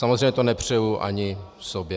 Samozřejmě to nepřeji ani sobě.